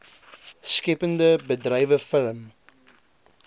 skeppende bedrywe film